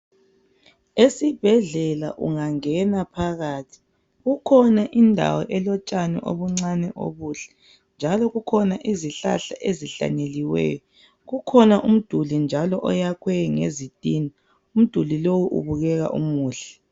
Esibhedlela ungangena ohakathi kukhona indawo elotshani obuncane obuhle njalo kukhona izihlahla ezihlanyeliweyo. Kukhona njalo umdulinoyakhwe ngezitina umdulinlowu ubukeka umuhle.